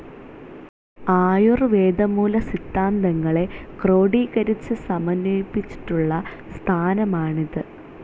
ആയുർവേദമൂലസിദ്ധാന്തങ്ങളെ ക്രോഡീകരിച്ചു സമന്വയിപ്പിച്ചിട്ടുള്ള സ്ഥാനമാണിത്.